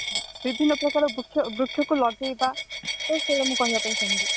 ବିଭିନ୍ନ ପ୍ରକାର ବୃକ୍ଷ ବୃକ୍ଷ କୁ ଲଗେଇବା ବାସ ଏଇଆ ମୁଁ କହିବାପାୟନ ଚାହିଁବି